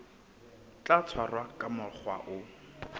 tla tshwarwa ka mokgwa o